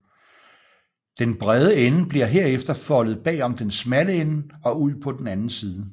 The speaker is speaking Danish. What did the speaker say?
Den brede ende bliver herefter foldet bagom den smalle ende og ud på den anden side